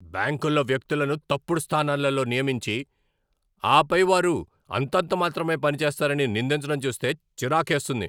బ్యాంకుల్లో వ్యక్తులను తప్పుడు స్థానాలలో నియమించి, ఆపై వారు అంతంతమాత్రమే పనిచేస్తారని నిందించడం చూస్తే చిరాకేస్తుంది.